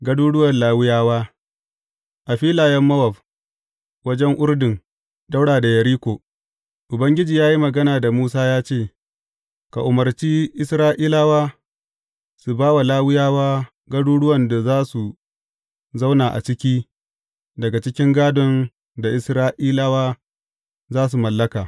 Garuruwan Lawiyawa A filayen Mowab, wajen Urdun, ɗaura da Yeriko, Ubangiji ya yi magana da Musa ya ce, Ka umarci Isra’ilawa su ba wa Lawiyawa garuruwan da za su zauna a ciki daga cikin gādon da Isra’ilawa za su mallaka.